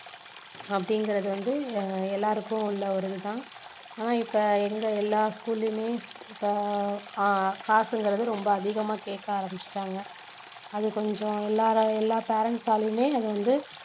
அப்படிங்குறது வந்து எல்லாருக்கும் உள்ள ஒரு இது தான் ஆனா இப்போ எங்க எல்லா school லயுமே இப்போ ஆஹ் காசுங்குறது ரொம்ப அதிகமா கேக்க ஆரம்பிச்சிட்டாங்க அது கொஞ்சம் எல்லார~ எல்லா parents ஆலையுமே அது வந்து